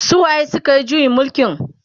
su waye sukayi juyin mulkin?